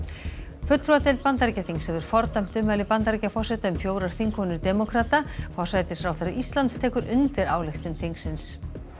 fulltrúadeild Bandaríkjaþings hefur fordæmt ummæli Bandaríkjaforseta um fjórar þingkonur demókrata forsætisráðherra Íslands tekur undir ályktun þingsins